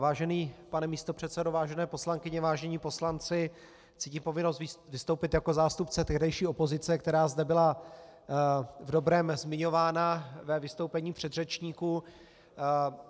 Vážený pane místopředsedo, vážené poslankyně, vážení poslanci, cítím povinnost vystoupit jako zástupce tehdejší opozice, která zde byla v dobrém zmiňována ve vystoupení předřečníků.